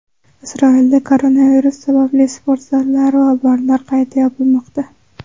Isroilda koronavirus sababli sport zallari va barlar qayta yopilmoqda.